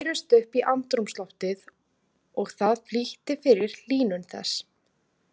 Þær bærust upp í andrúmsloftið og það flýtti fyrir hlýnun þess.